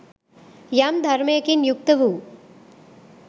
යම් ධර්මයකින් යුක්ත වූ